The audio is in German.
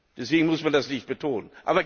Deswegen muss man das nicht betonen.